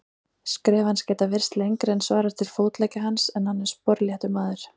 Skref hans geta virst lengri en svarar til fótleggja hans, en hann er sporléttur maður.